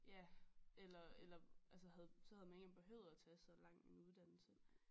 Ja eller eller altså havde så havde man ikke engang behøvet at tage så lang en uddannelse